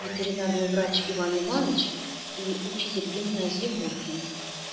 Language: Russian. ветеринарный врач иван иваныч и учитель гимназии буркин